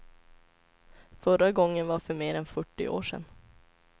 Förra gången var för mer än fyrtio år sedan.